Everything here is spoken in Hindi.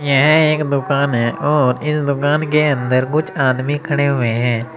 यह एक दुकान है और इस दुकान के अंदर कुछ आदमी खड़े हुए हैं।